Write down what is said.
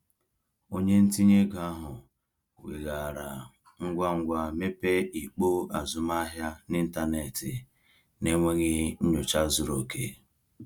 Onye ntinye ego ahụ weghaara ngwa ngwa mepee ikpo azụmahịa n’ịntanetị n’enweghị nnyocha zuru oke.